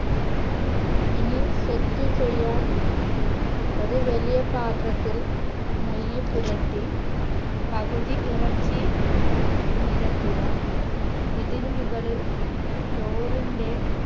ഇനി set ചെയ്യാൻ ഒരു വലിയ പാത്രത്തിൽ നെയ്യ് പുരട്ടി പകുതി ഇറച്ചി നിരത്തുക ഇതിനു മുകളിൽ ചോറിന്റെ